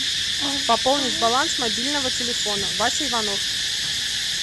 пополнить баланс мобильного телефона вася иванов